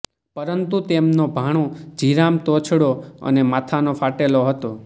પરંતુ તેમનો ભાણો જીરામ તોછડો અને માથાનો ફાટેલો હતો